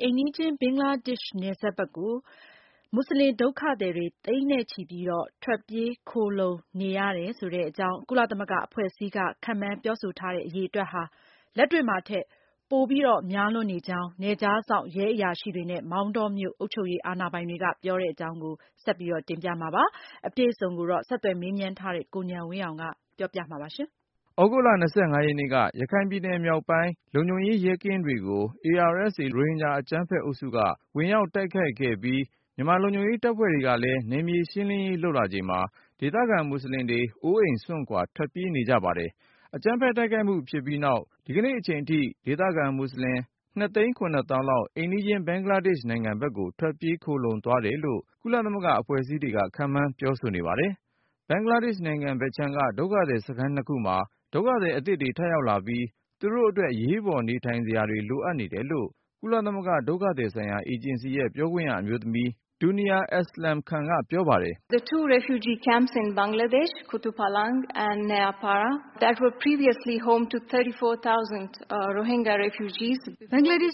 အိမ်နီးချင်း ဘင်္ဂလားဒေ့ရှ်နိုင်ငံဘက်ကို ထွက်ပြေး ခိုလှုံသွားတယ်လို့ ကုလသမဂ္ဂ အဖွဲ့အစည်းတွေက ခန့်မှန်းပြောနေတဲ့ ဒီအရေအတွက်ဟာ လက်တွေ့မှာထက် များလွန်းကြောင်း၊ နယ်ခြားစောင့် ရဲအရာရှိတွေနဲ့ မောင်တောမြို့အုပ်ချုပ်ရေး အာဏာပိုင်တွေက ပြောပါတယ်။ ဆက်သွယ်မေးမြန်း ထားတဲ့ ကိုဉာဏ်ဝင်းအောင်က တင်ပြပါမယ်။ သြဂုတ်လ ရက်နေ့က ရခိုင်ပြည်နယ်မြောက်ပိုင်း လုံခြုံရေးရဲကင်းတွေကို ARSA လို့ခေါ်တဲ့ ရိုဟင်ဂျာအကြမ်းဖက်အုပ်စုက ဝင်ရောက်တိုက်ခိုက်ခဲ့ပြီး မြန်မာလုံခြုံရေး တပ်ဖွဲ့တွေကလည်း နယ်မြေရှင်းလင်းရေး လုပ်လာချိန်မှာ ဒေသခံမွတ်ဆလင်တွေ အိုးအိမ်စွန့်ခွာ ထွက်ပြေးနေကြပါတယ်။ အကြမ်းဖက်တိုက်ခိုက်မှု ဖြစ်ပြီးနောက် ဒီကနေ့အချိန်အထိ ဒေသခံမွတ်ဆလင် လောက် အိမ်နီးချင်း ဘင်္ဂလားဒေ့ရှ် နိုင်ငံဘက်ကို ထွက်ပြေး ခိုလှုံသွားတယ်လို့ ကုလသမဂ္ဂ အဖွဲ့အစည်းတွေက ခန့်မှန်းပြောဆိုနေပါတယ်။ ဘင်္ဂလားဒေ့ရှ်နိုင်ငံဘက်ခြမ်းက ဒုက္ခသည်စခန်း ခုမှာ ဒုက္ခသည် အသစ်တွေ ထပ်ရောက်လာပြီး သူတို့အတွက် အရေးပေါ်နေထိုင်စရာတွေ လိုအပ်တယ်လို့ ကုလသမဂ္ဂ ဒုက္ခသည်ဆိုင်ရာ အေဂျင်စီရဲ့ပြောခွင့်ရ အမျိုးသမီး Duniya Aslam Khan ကပြောပါတယ်။ “ဘင်္ဂလားဒေ့ရှ်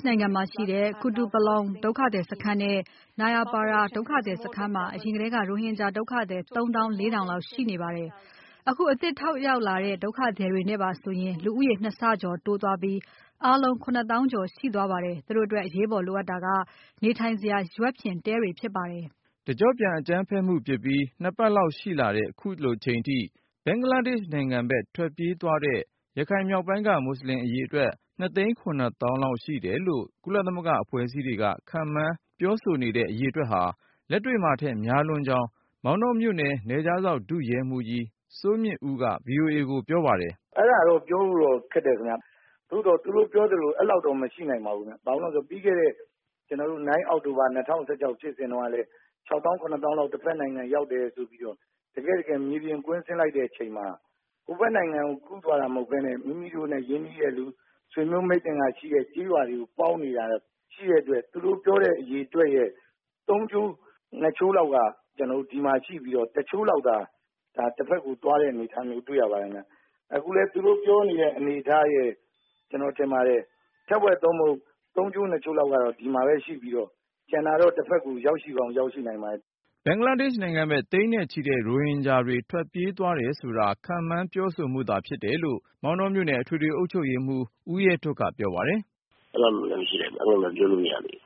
နိုင်ငံမှာရှိတဲ့ Kutupalong ကုတုပလောင် ဒုက္ခသည်စခန်းနဲ့ Nayapara နယာပါရာ ဒုက္ခသည်စခန်းမှာ အရင်ကတည်းက ရိုဟင်ဂျာ ဒုက္ခသည် ၃သောင်း ၄ထောင်လောက် ရှိနေတာပါ။ အခု အသစ်ထပ်ရောက်လာကြတဲ့ ဒုက္ခသည်တွေ နဲ့ပါဆိုရင် လူဦးရေ နှစ်ဆကျော်တိုးသွားပြီး အားလုံး ၇သောင်းကျော် ရှိသွားပါတယ်။ သူတို့အတွက် အရေးပေါ်လိုအပ်တာက နေထိုင်စရာ ရွက်ဖျင်တဲတွေပဲ ဖြစ်ပါတယ်။” တကြော့ပြန် အကြမ်းဖက်မှုဖြစ်ပြီး ပတ်လောက်ရှိလာတဲ့ ခုလိုအချိန်ထိ ဘင်္ဂလားဒေ့ရှ်နိုင်ငံဘက် ထွက်ပြေးသွားတဲ့ ရခိုင်မြောက်ပိုင်းက မွတ်ဆလင် အရေအတွက် လောက်ရှိတယ်လို့ ကုလသမဂ္ဂ အဖွဲ့အစည်းတွေက ခန့်မှန်းပြောဆိုနေတဲ့ ဒီအရေအတွက်ဟာ လက်တွေ့မှာထက် များလွန်းကြောင်း မောင်တောမြို့နယ် နယ်ခြားစောင့် ဒုရဲမှူးကြီး စိုးမြင့်ဦးက VOA ကိုပြောပါတယ်။ " အဲ့တာတော့ ပြောဖို့တော့ ခက်တယ်ခင်ဗျ။ သို့သော် သူတို့ပြောသလို အဲ့လောက်တော့ မရှိနိုင်ပါဘူးခင်ဗျ။ ဘာကြောင့်လဲဆိုတော့ ပြီးခဲ့တဲ့ ၉-အောက်တိုဘာ ၂၀၁၆ ဖြစ်စဉ်တုန်းက ခြောက်သောင်း၊ ခုနှစ်သောင်းလောက် တဘက်နိုင်ငံရောက် တယ်ဆိုပြီးတော့ တကယ့်တကယ် မေးကြည့်တော့ မြေပြင်ကို ကွင်းဆင်း စစ်ကြည့်လိုက်တဲ့အခါမှာ ဟိုဘက်နိုင်ငံကို ကူးသွားတာမဟုတ်ပဲနဲ့ မိမိတို့နဲ့ရင်းနှီးတဲ့သူ ဆွေမျိုးမိတ်သင်္ဂဟ ရှိတဲ့သူတွေရှိတဲ့ ကျေးရွာတွေမှာ ရှိနေတဲ့အတွက် သူတို့ပြောတဲ့အရေအတွက်ရဲ့ သုံးချိုးနှစ်ချိုးလောက်က ဒီမှာရှိပြီးတော့ တချိုးလောက်သာ တဘက်ကို သွားတဲ့အနေအထားမျိူး တွေ့ရပါတယ်ခင်ဗျ။ အခုလည်း သူတို့ပြောနေတဲ့ အနေအထားရယ် ကျနော်ထင်ပါတယ် ထက်ဝက်သို့မဟုတ် သုံးချိုးနှစ်ချိုးလောက်က ဒီမှာပဲရှိပြီးတော့ ကျန်တာတော့ တဘက်ကို ရောက်ရှိကောင်းရောက်ရှိနိုင်ပါတယ်။ " ဘင်္ဂလားဒေ့ရှ်နိုင်ငံဘက် သိန်းနဲ့ချီတဲ့ ရိုဟင်ဂျာတွေ ထွက်ပြေးသွားတယ်ဆိုတာ ခန့်မှန်းပြောဆိုမှုတွေသာ ဖြစ်တယ်လို့ မောင်တောမြို့နယ် အထွေထွေ အုပ်ချုပ်ရေးမှူး ဦးရဲထွဋ်က ပြောပါတယ်။ “အဲလောက်တော့လည်း မရှိနိုင်ပါဘူး။ အဲလိုလဲ ပြောလို့ မရသေးပါဘူး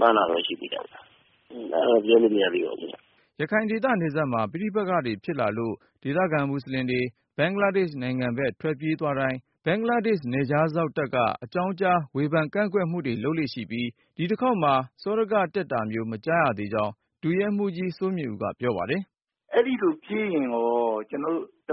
။ မှန်းတာပဲ ရှိသေးတာဗျ။ အဲဒါတော့ ပြောလို့မရသေးပါဘူး” ရခိုင်ဒေသနယ်စပ်မှာ ပဋိပက္ခတွေဖြစ်လာလို့ ဒေသခံမွတ်ဆလင်တွေ ဘင်္ဂလားဒေ့ရှ်နိုင်ငံဘက် ထွက်ပြေးသွားတိုင်း ဘင်္ဂလားဒေ့ရှ်နယ်ခြားစောင့်တပ်က အကြောင်းကြား ဝေဖန်ကန့်ကွက်မှုတွေ လုပ်လေ့ရှိပြီး၊ ဒီတခေါက်မှာ စောဒကတက်တာမျိုး မကြားရသေးကြောင်း ဒုရဲမှူးကြီး စိုးမြင့်ဦးက ပြောပါတယ်။ " အဲ့သလိုပြေးရင်ရော တ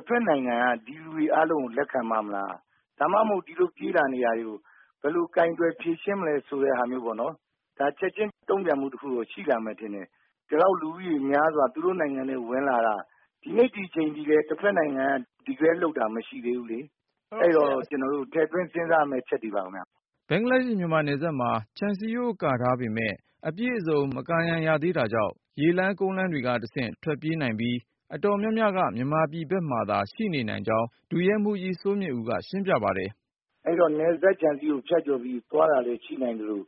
ဘက်နိုင်ငံက ဒီလူတွေ အားလုံးကို လက်ခံပါ့မလား ဒါမှမဟုတ် ဒီလိုပြေးလာနေတာတွေကို ဘယ်လိုကိုင်တွယ်ဖြေရှင်းမလဲဆိုတဲ့ဟာမျိုးကိုပေါ့နော် ဒါ ချက်ခြင်းတုန့်ပြန်မှုတခုတော့ ရှိလာမယ်ထင်တယ်။ ဒီလောက်လူဦးရေများစွာ သူတို့နိုင်ငံထဲ ဝင်လာတာ ဒီနေ့ဒီအချိန်အထိလည်း တဘက်နိုင်ငံက Declare လုပ်တာ မရှိသေးဘူး။ အဲ့တော့ အဲ့တာတွေက ထည့်သွင်းစဉ်းစားရမယ့်အချက်တွေပါခင်ဗျ။" ဘင်္ဂလားမြန်မာနယ်စပ်မှာ ခြံစည်းရိုးကာထားပေမယ့် အပြည့်အစုံ မကာရံရသေးတာကြောင့်၊ ရေလမ်း ကုန်လမ်းတွေကတဆင့် ထွက်ပြေးနိုင်ပြီး အတော်များများက မြန်မာပြည်ဘက်မှာသာ ရှိနေနိုင်ကြောင်း ဒုရဲမှူးကြီး စိုးမြင့်ဦးက ရှင်းပြပါတယ်။ " အဲ့တော့ နယ်စပ်ခြံစည်းရိုးကို ဖြတ်ကျော်ပြီးသွားတာလည်း ရှိနိုင်သလို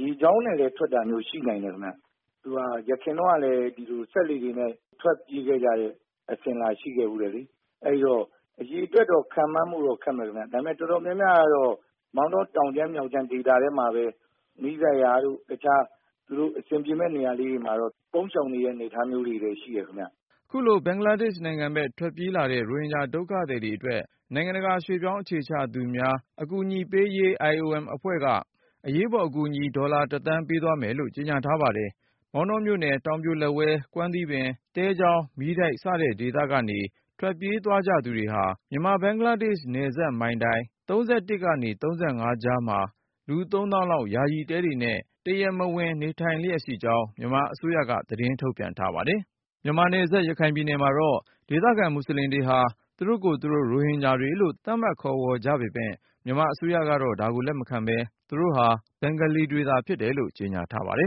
ရေကြောင်းနဲ့လည်း ထွက်တာရှိနိုင်တယ်ခင်ဗျ။ ယခင်တုန်းကလည်း ဒီလိုစက်လှေတွေနဲ့ ထွက်ပြေးခဲ့ကြတဲ့ အစဉ်အလာရှိခဲ့ဖူးတယ်လေ အဲ့ဒီ့တော့ အရေအတွက်တော့ ခန့်မှန်းဖို့တော့ ခက်မယ်ခင်ဗျာ ဒါပေမဲ့ တော်တော်များများတော့ မောင်တော တောင်ခြမ်း မြောက်ခြမ်း ဒေသထဲမှာပဲ နီးစပ်ရာတို့ သူတို့တခြားအဆင်ပြေမယ့်နေရာလေးတွေ ပုန်းရှောင်နေတဲ့အနေအထားမျိုးလေးတွေတော့ရှိတယ်ခင်ဗျ။" ခုလို ဘင်္ဂလားဒေ့ရှ်ဘက် ထွက်ပြေးလာတဲ့ ရိုဟင်ဂျာဒုက္ခသည်တွေအတွက် နိုင်ငံတကာ ရွှေ့ပြောင်းအခြေချသူများ အကူအညီပေးရေး IOM အဖွဲ့က အရေးပေါ်အကူအညီ ဒေါ်လာ သန်း ပေးသွားမယ်လို့ ကြေညာထားပါတယ်။ မောင်တောမြို့နယ် တောင်ပြိုလက်ဝဲ၊ ကွမ်းသီးပင်၊ သဲချောင်း၊ မီးတိုက် စတဲ့ဒေသကနေ ထွက်ပြေး သွားကြသူတွေဟာ မြန်မာ-ဘင်္ဂလားဒေ့ရှ် နယ်စပ်မှတ်တိုင် ၃၁ ကနေ ၃၅ ကြားမှာ လူ သောင်းလောက် ယာယီတဲတွေနဲ့ တရားမဝင် နေထိုင်လျက်ရှိကြောင်း မြန်မာအစိုးရက သတင်းထုတ်ပြန်ထားပါတယ်။ မြန်မာနယ်စပ် ရခိုင်ပြည်နယ်မှာတော့ ဒေသခံမူဆလင်တွေဟာ သူတို့ကိုယ်သူတို့ ရိုဟင်ဂျာတွေလို့ သတ်မှတ်ခေါ်ဝေါ်ကြပေမယ့် မြန်မာအစိုးရကတော့ ဒါကို လက်မခံပဲ၊ သူတို့ဟာ ဘင်္ဂလီတွေသာ ဖြစ်တယ်လို့ ကြေညာထားပါတယ်